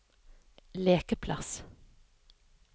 lekeplass